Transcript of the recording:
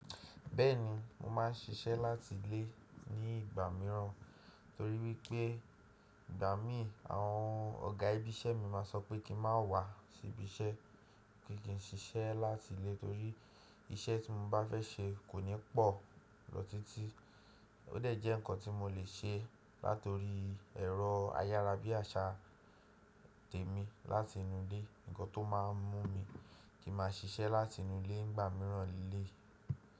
Bẹ́ẹ̀ni, mo máa ń ṣiṣẹ́ láti ilé ní ìgbà mìíràn, torí pé ìgbà mìí àwọn ọ̀gá ibiṣẹ́ mi máa sọ pé kí n má wà sí ibiṣẹ́, pé kí n ṣiṣẹ́ láti ilé torí iṣẹ́ tí mo bá fẹ́ ṣe kò ní pọ̀ lọ títí. Ó dẹ̀ jẹ́ nǹkan tí mo lè ṣe láti orí ẹ̀rọ ayara bí i àṣà tèmí láti inú ilé, nǹkan tó máa ń mú mi kí n máa ṣiṣẹ́ láti inú ilé ní ìgbà mìíràn léléyii.